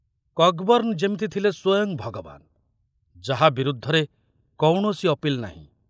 କକବର୍ଣ୍ଣ ଯେମିତି ଥିଲେ ସ୍ୱୟଂ ଭଗବାନ ଯାହା ବିରୁଦ୍ଧରେ କୌଣସି ଅପିଲ ନାହିଁ।